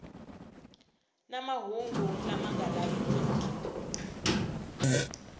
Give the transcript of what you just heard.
na mahungu lama nga lavekeki